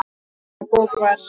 Sú bók var